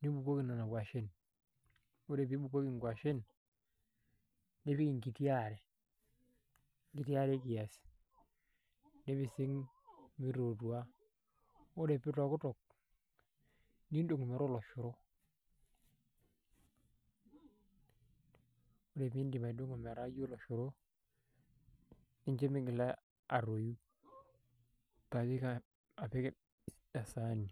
nibukoki nena kuashen ore peeibukoki inkuashen nipik enkiti aare enkiti aare kiasi nipising meitootua ore peeitokitok nindong metaa oloshoro ore peintim atung'o metaa ijio oloshoro nincho meigila atoyu paintayu apik esaani